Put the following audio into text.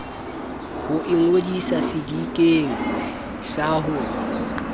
ho ingodisa sedikeng sa ho